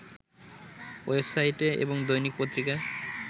ওয়েবসাইটে এবং দৈনিক পত্রিকায়